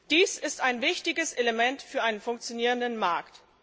Dies ist ein wichtiges Element für einen funktionierenden Markt.